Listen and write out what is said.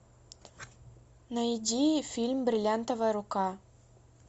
найди фильм бриллиантовая рука